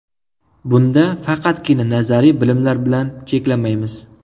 Bunda faqatgina nazariy bilimlar bilan cheklanmaymiz.